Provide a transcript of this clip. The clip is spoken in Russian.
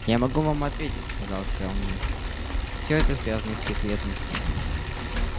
я могу вам ответить сказал кэллнер все это связано с секретностью